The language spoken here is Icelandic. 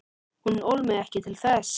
Hún ól mig ekki til þess.